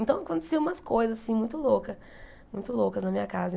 Então, aconteciam umas coisas assim muito loucas, muito loucas na minha casa.